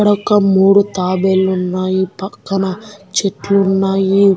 ఇక్కడ ఒక మూడు తాబేలు ఉన్నాయి పక్కన చెట్లు ఉన్నాయి.